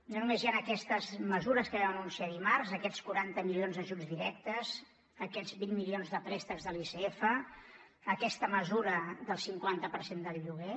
no només hi han aquestes mesures que vam anunciar dimarts aquests quaranta milions d’ajuts directes aquests vint milions de préstecs de l’icf aquesta mesura del cinquanta per cent del lloguer